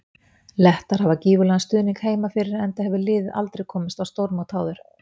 Lettar hafa gífurlegan stuðnings heima fyrir enda hefur liðið aldrei komist á stórmót áður.